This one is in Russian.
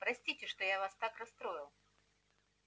простите что я вас так расстроил